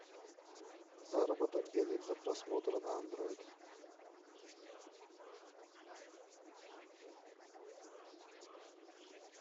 заработок денег за просмотр на андроид